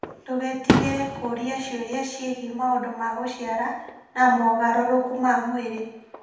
Ndũgetigĩre kũũria ciũria ciĩgiĩ maũndũ ta gũciara na mogarũrũku ma mwĩrĩ.